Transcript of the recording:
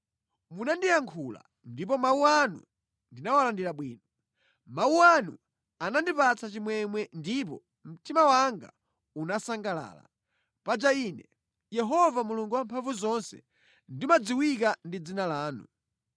Munandiyankhula ndipo mawu anu ndinawalandira bwino. Mawu anu anandipatsa chimwemwe ndipo mtima wanga unasangalala. Paja ine, Yehova Mulungu Wamphamvuzonse, ndimadziwika ndi dzina lanu.